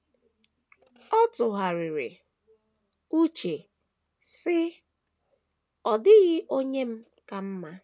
Ọ tụgharịrị uche, sị: “ Ọ dịghị onye m ka mma.